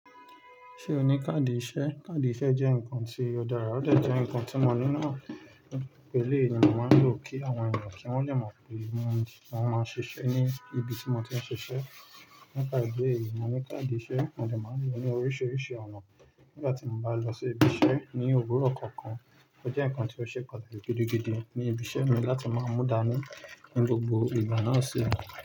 Ṣé o ní káàdì iṣẹ́? Káàdì iṣẹ́ jẹ́ nǹkan tí ó dára, ó dẹ jẹ́ nǹkan tí mo nílò eleyi ni máa ń lò kí àwọn èyàn kí wọ́n lè mọ̀ pé mo máa ń ṣiṣẹ́ ní ibi tí wọn ti ń ṣiṣẹ́. Nípa ìdí èyí mo ní káàdì iṣẹ́, mo dẹ́ máa ń lò ó ní oríṣiríṣi ọ̀nà. Nígbà tí mo bá lọ sí ibi iṣẹ́ ní òwúrọ̀ kankan, ó jẹ́ nǹkan tí ó ṣe pàtàkì gidigidi ní ibi iṣẹ́ mi láti máa mú dàni ní gbogbo ìgbà náà sílẹ̀.